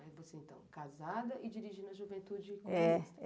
Aí você, então, casada e dirigindo a juventude comunista.